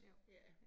Jo